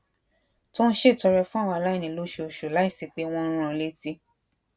tó ń ṣètọrẹ fún àwọn aláìní lóṣooṣù láìsí pé wón ń rán an létí